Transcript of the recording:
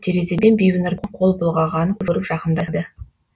терезеден бибінұрдың қол бұлғағанын көріп жақындады